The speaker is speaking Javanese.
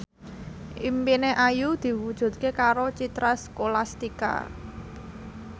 impine Ayu diwujudke karo Citra Scholastika